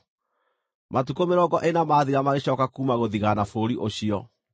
Matukũ mĩrongo ĩna mathira magĩcooka kuuma gũthigaana bũrũri ũcio.